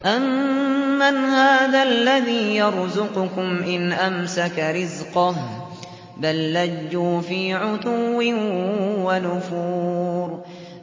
أَمَّنْ هَٰذَا الَّذِي يَرْزُقُكُمْ إِنْ أَمْسَكَ رِزْقَهُ ۚ بَل لَّجُّوا فِي عُتُوٍّ وَنُفُورٍ